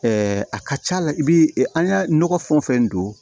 a ka ca la i bi an ya nɔgɔ fɛn o fɛn don